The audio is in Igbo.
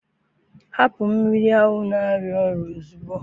hapụ mmiri ahụ na-arịa ọrịa ozugbo!